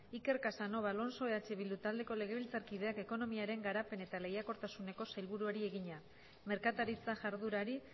iker casanova alonso eh bildu taldeko legebiltzarkideak ekonomiaren garapen eta lehiakortasuneko sailburuari egina merkataritza jarduerari